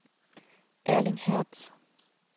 Erling Hertz